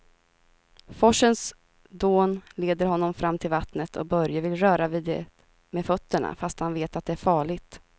Forsens dån leder honom fram till vattnet och Börje vill röra vid det med fötterna, fast han vet att det är farligt.